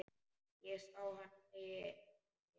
Ég sá hana, segi ég.